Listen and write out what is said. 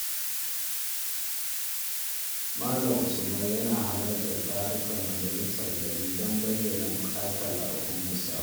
Malam Usman yana halartar tarukan majalisar gari don bayyana bukatun al’ummarsa.